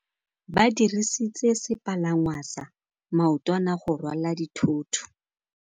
Ba dirisitse sepalangwasa maotwana go rwala dithôtô.